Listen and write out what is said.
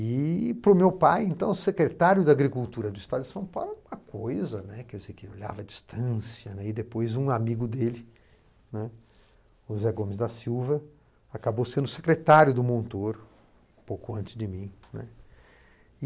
E para o meu pai, então, secretário da agricultura do estado de São Paulo, uma coisa né, que eu sei que ele olhava à distância, e depois um amigo dele, né, o Zé Gomes da Silva, acabou sendo secretário do Montoro, pouco antes de mim, né.